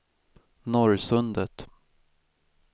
Norrsundet